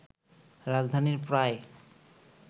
রাজধানীর প্রায়